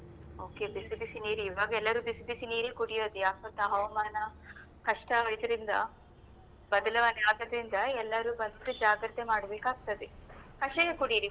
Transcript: Okay ಬಿಸಿ ಬಿಸಿ ನೀರಿಗೆ ಈವಾಗೆಲ್ಲರು ಬಿಸಿಬಿಸಿ ನೀರೆ ಕುಡಿಯೋದು ಯಾಕ್ಗೊತ್ತಾ ಹವಾಮಾನ ಕಷ್ಟ ಇದ್ರಿಂದ ಬದಲಾವಣೆ ಆದದ್ರಿಂದ ಎಲ್ಲರೂ first ಜಾಗ್ರತೆ ಮಾಡಬೇಕಾಗ್ತದೆ ಕಷಾಯ ಕುಡಿಯಿರಿ.